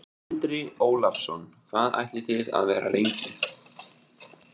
Andri Ólafsson: Hvað ætlið þið að vera lengi?